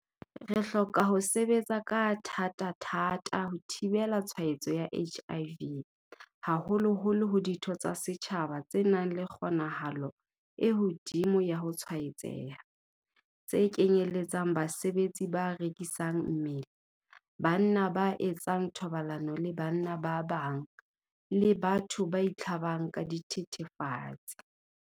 Re hloka ho sebetsa ka thatathata ho thibela tshwaetso ya HIV haholoholo ho ditho tsa setjhaba tse nang le kgonahalo e hodimo ya ho tshwaetseha, tse kenyeletsang basebetsi ba rekisang mmele, banna ba etsang thobalano le banna ba bang, le batho ba itlhabang ka dithethefatsi.